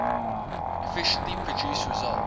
efficiently produce results